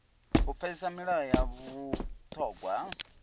u pfesesa milayo ya vhuṱhogwa